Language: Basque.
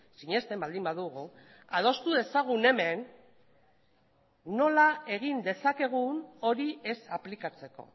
sinesten baldin badugu adostu dezagun hemen nola egin dezakegun hori ez aplikatzeko